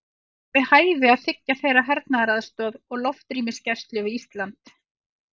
Er við hæfi að þiggja þeirra hernaðaraðstoð og loftrýmisgæslu við Ísland?